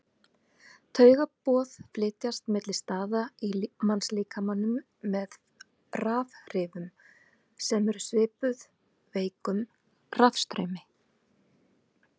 Taugaboð flytjast milli staða í mannslíkamanum með rafhrifum sem eru svipuð veikum rafstraumi.